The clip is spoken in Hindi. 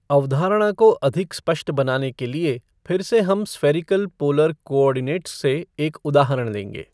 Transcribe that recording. अवधारणा को अधिक स्पष्ट बनाने के लिए फिर से हम स्फ़ेरिकल पोलर कॉऑर्डिनेट्स से एक उदाहरण लेंगे।